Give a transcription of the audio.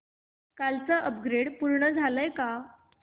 कालचं अपग्रेड पूर्ण झालंय का